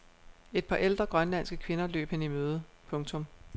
Et par ældre grønlandske kvinder løb hende i møde. punktum